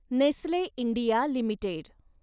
Nestle India limited